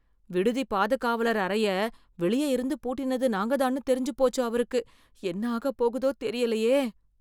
விடுதி பாதுகாவலர் அறைய வெளிய இருந்து பூட்டினது நாங்க தான்னு தெரிஞ்சு போச்சு அவருக்கு. என்ன ஆகப் போகுதோ தெரிலேயே.